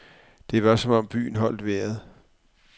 Det var som om byen holdt vejret.